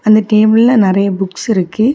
அந்த டேபிள்ல நெறைய புக்ஸ் இருக்கு.